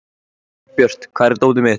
Árbjört, hvar er dótið mitt?